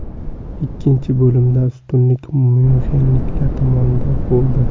Ikkinchi bo‘limda ustunlik myunxenliklar tomonidan bo‘ldi.